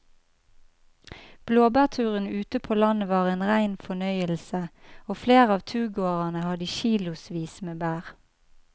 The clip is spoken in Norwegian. Blåbærturen ute på landet var en rein fornøyelse og flere av turgåerene hadde kilosvis med bær.